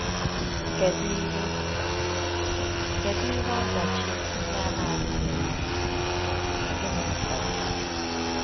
Kedu ihe Kedu ihe ọdachi ndị a na-adịghị emere anyị, na gịnị kpatara ya?